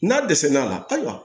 N'a dɛsɛl'a la ayiwa